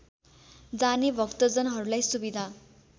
जाने भक्तजनहरूलाई सुविधा